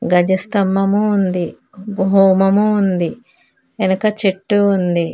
గజ స్తంభము ఉంది ఓ హోమము ఉంది ఎనక చెట్టు ఉంది.